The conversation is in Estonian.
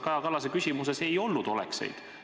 Kaja Kallase küsimuses ei olnud ju olekseid.